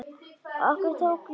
Okkur tók niðri!